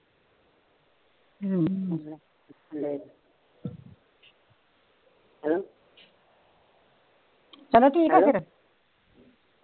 ਚਲੋ ਠੀਕ ਫਿਰ